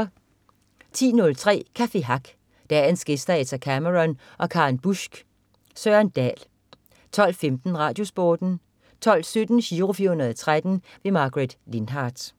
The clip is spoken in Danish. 10.03 Café Hack. Dagens gæster er Etta Cameron og Karen Busck. Søren Dahl 12.15 Radiosporten 12.17 Giro 413. Margaret Lindhardt